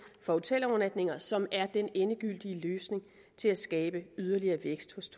for hotelovernatninger som er den endegyldige løsning til at skabe yderligere vækst